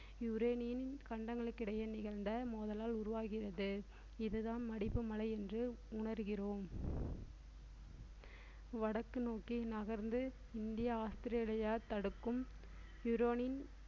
யுரேனியின் கண்டங்களுக்கு இடையே நிகழ்ந்த மோதலால் உருவாகிறது இதுதான் மடிப்பு மலை என்று உணர்கிறோம் வடக்கு நோக்கி நகர்ந்து இந்தியா ஆஸ்திரேலியா தடுக்கும் யுரேனின்